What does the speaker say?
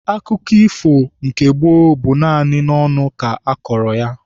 Akụkọ ifo nke gboo bụ naanị n'ọnụ ka akọrọ ya.